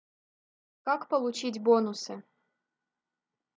как получить бонусы